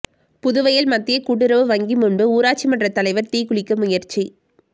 புதுவயல் மத்திய கூட்டுறவு வங்கி முன்பு ஊராட்சிமன்ற தலைவர் தீக்குளிக்க முயற்சி